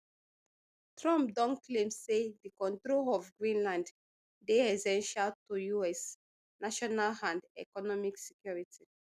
trump don claim say di control of greenland dey essential to us national and economic security